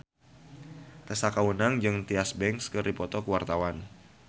Tessa Kaunang jeung Tyra Banks keur dipoto ku wartawan